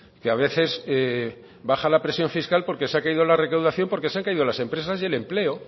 que a veces baja la presión fiscal porque se ha caído la recaudación porque se han caído las empresas y el empleo